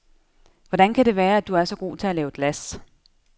Hvordan kan det være, at du er så god til at lave glas?